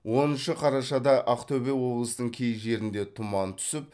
оныншы қарашада ақтөбе облысының кей жерінде тұман түсіп